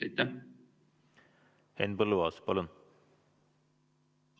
Henn Põlluaas, palun!